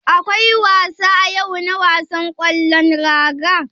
Akwai wasa yau na wasan ƙwallon raga.